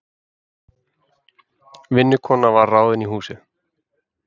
Vinnukona var ráðin í húsið.